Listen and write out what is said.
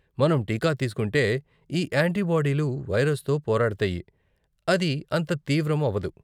మనం టీకా తీస్కుంటే, ఈ యాంటీబాడీలు వైరస్తో పోరాడతాయి, అది అంత తీవ్రం అవ్వదు.